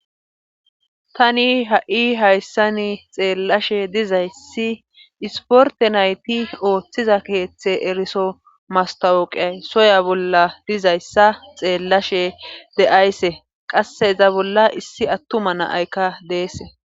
tani ha7i hayssani xeellashe dizayssi isporte nayti ooththiza keeththe eriso mastawoqiyay soya bolla dizayssa xeellashe de7aysse qasse iza bolla issi attuma naaykka deese